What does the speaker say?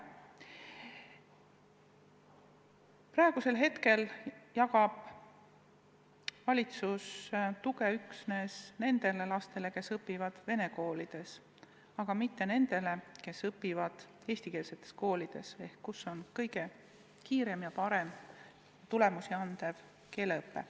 Praegu jagab valitsus tuge üksnes nendele lastele, kes õpivad vene koolides, aga mitte nendele, kes õpivad eestikeelsetes koolides ehk kus on kõige kiiremini häid tulemusi andev keeleõpe.